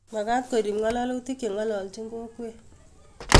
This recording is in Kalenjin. Makat korip ng'alalutik ye ng'alolchin kokwet